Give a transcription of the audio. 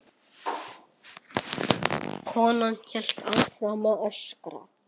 Konan hélt áfram að öskra.